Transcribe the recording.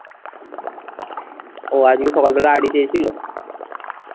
ও আজকে সকালবেলা আইডি চেয়েছিল,